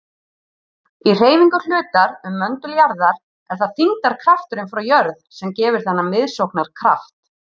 Í hreyfingu hlutar um möndul jarðar er það þyngdarkrafturinn frá jörð sem gefur þennan miðsóknarkraft.